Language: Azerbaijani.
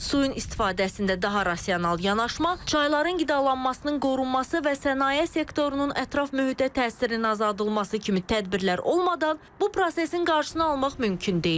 Suyun istifadəsində daha rasional yanaşma, çayların qidalanmasının qorunması və sənaye sektorunun ətraf mühitə təsirinin azaldılması kimi tədbirlər olmadan bu prosesin qarşısını almaq mümkün deyil.